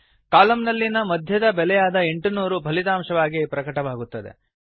column ನಲ್ಲಿನ ಮಧ್ಯದ ಬೆಲೆಯಾದ 800 ಫಲಿತಾಂಶವಾಗಿ ಪ್ರಕಟವಾಗುತ್ತದೆ